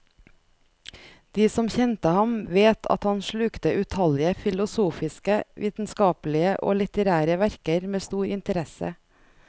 De som kjente ham, vet at han slukte utallige filosofiske, vitenskapelige og litterære verker med stor interesse.